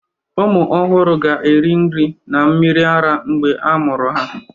ụmụ ọhụrụ ga-eri nri na mmiri ara mgbe a mụrụ ha